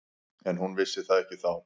En hún vissi það ekki þá.